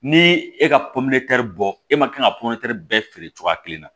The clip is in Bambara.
Ni e ka bɔ e man kan ka bɛɛ feere cogoya kelen na